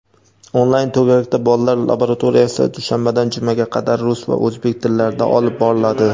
"Onlayn -to‘garak"da bolalar laboratoriyasi dushanbadan jumaga qadar rus va o‘zbek tillarida olib boriladi.